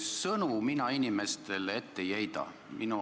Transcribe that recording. Sõnu mina inimestele ette ei heida.